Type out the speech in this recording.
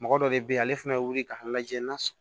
Mɔgɔ dɔ de bɛ yen ale fɛnɛ bɛ wuli ka lajɛ na s